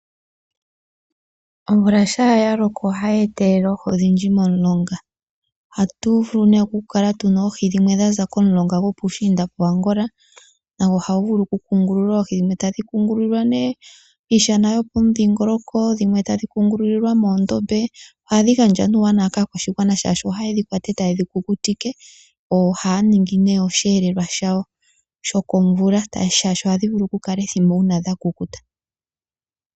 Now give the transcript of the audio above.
Omvula shampa yaloko ohayi etelele oohi odhindji momulonga. Ohatu vulu nee okukala tuna oohi dhimwe dhaza komulunga gopuushinda koAngola nago ohagu vulu oku kungulula oohi, dhimwe tadhi kungulilwa nee piishana yopomudhingoloko, dhimwe tadhi kungulilwa moondombe. Ohadhi gandja nee uuwanawa kaakwashigwana oshoka ohaye dhi kwata ndele taye dhi kukutike opo yedhi ninge oshiyelelwa shawo shokovula oshoka ohadhi vulu okukwata ethimbo uuna dhakukuta.